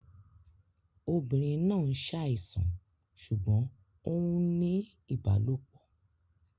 Obìnrin náà ń ṣàìsàn ṣùgbọ́n ó ń ní ìbálòpọ̀